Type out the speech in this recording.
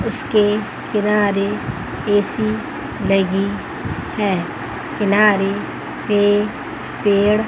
उसके किनारे ए_सी लगी है किनारे पे पेड़--